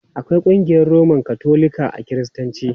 Akwai ƙungiyar Roman Katolika a Kiristanci.